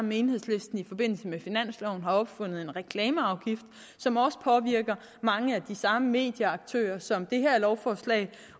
med enhedslisten i forbindelse med finansloven opfundet en reklameafgift som også påvirker mange af de samme medieaktører som det her lovforslag